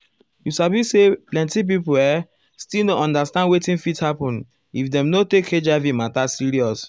you sabi say plenti people uhm still no understand wetin fit happen if dem no take hiv matter serious.